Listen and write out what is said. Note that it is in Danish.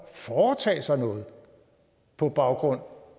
foretage sig noget på baggrund